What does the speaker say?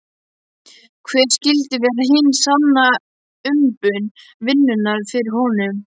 Hver skyldi vera hin sanna umbun vinnunnar fyrir honum?